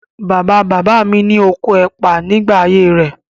Bàbá-bàbá mi ní oko ẹ̀pà nígbà ayé rẹ̀.